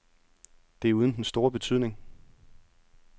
Det er uden den store betydning.